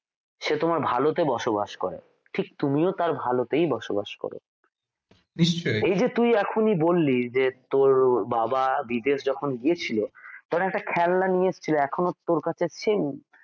সে তোমার ভালোতে বসবাস করে ঠিক তুমিও তার ভালোতেই বসবাস করো এই যে তুই এখনই বললি যে তোর বাবা বিদেশ যখন গিয়েছিল তখন একটা খেলনা নিয়ে এসেছিল এখনো তোর কাছে same